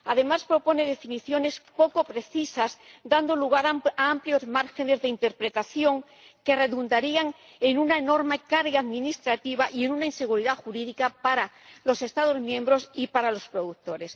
Además, propone definiciones poco precisas, dando lugar a amplios márgenes de interpretación, que redundarían en una enorme carga administrativa y en una inseguridad jurídica para los Estados miembros y para los productores.